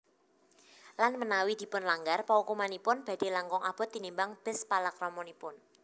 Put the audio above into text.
Lan menawi dipunlanggar paukumanipun badhe langkung abot tinimbang bes palakramanipun